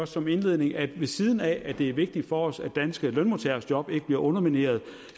som indledning at ved siden af at det er vigtigt for os at danske lønmodtageres job ikke bliver undermineret